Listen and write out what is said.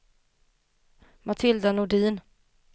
Matilda Nordin